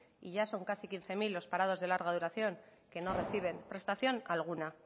y ya son casi quince mil los parados de larga duración que no reciben prestación alguna